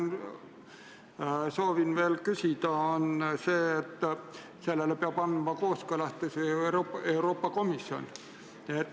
Ma soovin veel küsida selle kohta, et sellele peab andma kooskõlastuse ju Euroopa Komisjon.